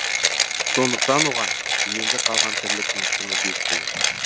сондықтан оған енді қалған тірліктің құны бес тиын